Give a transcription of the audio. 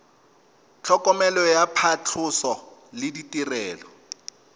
tlhokomelo ya phatlhoso le ditirelo